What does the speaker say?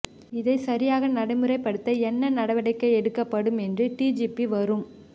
இதை சரியாக நடைமுறைப்படுத்த என்ன நடவடிக்கை எடுக்கப்படும் என்று டிஜிபி வரும்